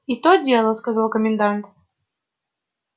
и то дело сказал комендант